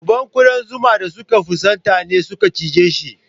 Dubban ƙudan zuma da suka fusata ne suka cijeshi.